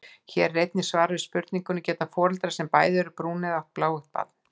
Hér er einnig svar við spurningunni: Geta foreldrar sem bæði eru brúneygð átt bláeygt barn?